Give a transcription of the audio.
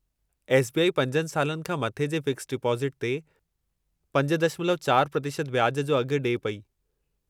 S. B. I. 5 सालनि खां मथे जे फ़िक्स्ड डिपोज़िटु ते 5.4% व्याज जो अघु ॾिए पेई।